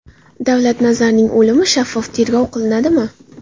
Davlat Nazarning o‘limi shaffof tergov qilinadimi?